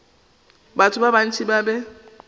batho ba bantši ba be